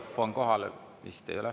Vist ei ole?